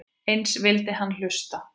Eins vildi hann hlusta.